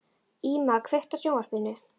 Íma, kveiktu á sjónvarpinu.